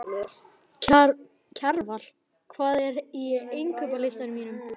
Kjarval, hvað er á innkaupalistanum mínum?